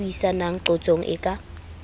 ba buisanang qotsong e ka